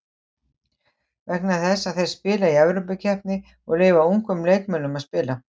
Vegna þess að þeir spila í Evrópukeppni og leyfa ungum leikmönnum að spila.